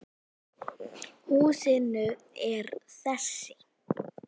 Húsin eru þessi